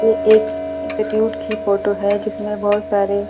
ये एक इंस्टिट्यूट की फोटो है जिसमें बहुत सारे --